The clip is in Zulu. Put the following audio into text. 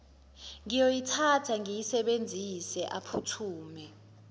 ngiyoyithatha ngiyisebenzise aphuthume